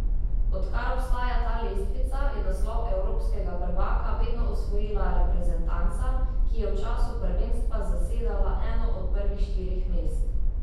Odkar obstaja ta lestvica, je naslov evropskega prvaka vedno osvojila reprezentanca, ki je v času prvenstva zasedala eno od prvih štirih mest.